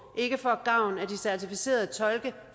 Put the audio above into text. ikke får gavn af de certificerede tolke